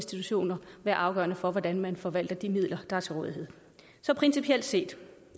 institutioner være afgørende for hvordan man forvalter de midler der er til rådighed så principielt set